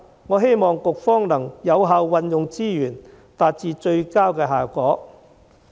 我希望局方能有效運用資源，達致最佳效果。